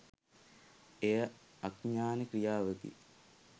එය අඥාන ක්‍රියාවකි.